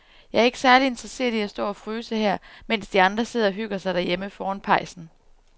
Jeg er ikke særlig interesseret i at stå og fryse her, mens de andre sidder og hygger sig derhjemme foran pejsen.